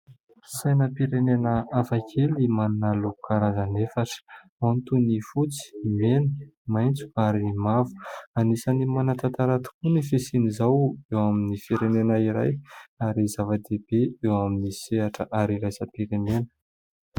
Sainam-pirenena hafa kely manana loko karazany efatra. Ao ny toy ny fotsy, ny mena, maitso ary mavo. Anisan'ny manan-tantara tokoa ny fisian'izao eo amin'ny firenena iray ary zavadehibe eo amin'ny sehatra ara iraisam-pirenena.